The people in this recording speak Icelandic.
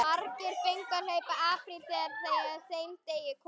Margir fengu að hlaupa apríl þegar að þeim degi kom.